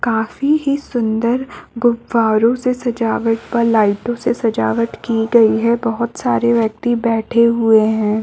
काफी ही सुंदर गुब्बारों से सजावट व लाइटो से सजावट की गयी है बहुत सारे व्यक्ति बैठे हुए है।